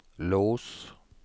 lås